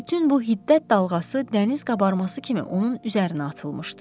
Bütün bu hiddət dalğası dəniz qabarması kimi onun üzərinə atılmışdı.